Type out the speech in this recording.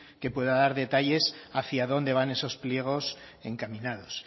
que podrá dar detalles de hacia dónde van esos pliegos encaminados